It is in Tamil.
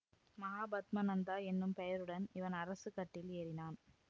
மகாபத்ம நந்தா என்னும் பெயருடன் இவன் அரசு கட்டில் ஏறினான்